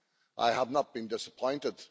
I have not been disappointed.